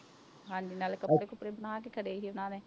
ਹਾਂਜੀ ਨਾਲੇ ਕੱਪੜੇ ਕੁਪੜੇ ਸੀ ਉਹਨਾਂ ਨੇ